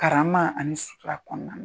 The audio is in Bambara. Karama ani sutura kɔnɔna na.